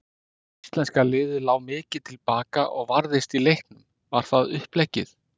Íslenska liðið lá mikið til baka og varðist í leiknum, var það uppleggið?